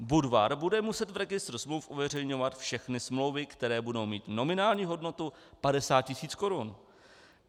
Budvar bude muset v registru smluv uveřejňovat všechny smlouvy, které budou mít nominální hodnotu 50 tisíc korun.